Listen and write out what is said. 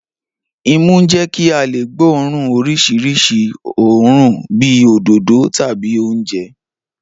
Imú ń jẹ́ kí a lè gbóòórùn oríṣiríṣi òórùn bíi òdòdó tàbí oúnjẹ